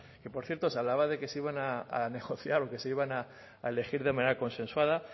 que por cierto se hablaba de que se iban a negociar o que se iban a elegir de manera consensuada